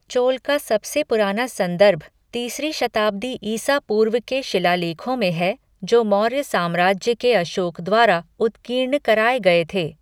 चोल का सबसे पुराना संदर्भ तीसरी शताब्दी ईसा पूर्व के शिलालेखों में है जो मौर्य साम्राज्य के अशोक द्वारा उत्कीर्ण कराए गए थे।